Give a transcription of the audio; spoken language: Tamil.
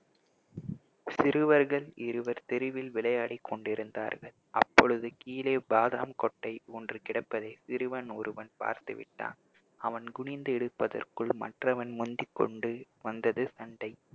சிறுவர்கள் இருவர் தெருவில் விளையாடி கொண்டிருந்தார்கள் அப்பொழுது கீழே பாதாம் கொட்டை ஒன்று கிடப்பதை சிறுவன் ஒருவன் பார்த்துவிட்டான் அவன் குனிந்து எடுப்பதற்குள் மற்றவன் முந்திக்கொண்டு வந்தது சண்டை